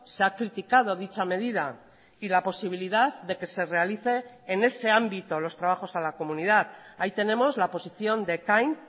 se ha criticado dicha medida y la posibilidad de que se realice en ese ámbito los trabajos a la comunidad ahí tenemos la posición de ekain